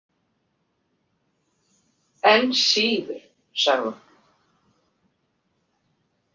Enn síður, sagði hún.